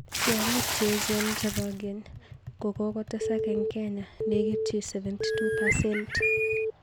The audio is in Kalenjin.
Tyong'iik cheechen chepo ng'eny kokotesak eng Kenya nekitchi 72%